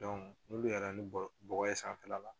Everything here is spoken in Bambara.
n'olu yɛlɛnna ni bɔgɔ ye sanfɛla la